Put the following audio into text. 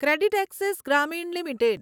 CreditAccess Grameen limited